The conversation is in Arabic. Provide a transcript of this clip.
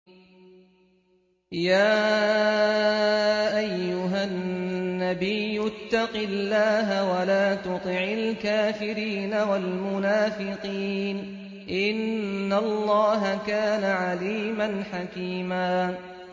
يَا أَيُّهَا النَّبِيُّ اتَّقِ اللَّهَ وَلَا تُطِعِ الْكَافِرِينَ وَالْمُنَافِقِينَ ۗ إِنَّ اللَّهَ كَانَ عَلِيمًا حَكِيمًا